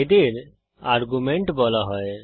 এদের আর্গুমেন্ট বলা হয়